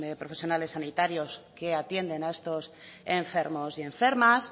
profesionales sanitarios que atienden a estos enfermos y enfermas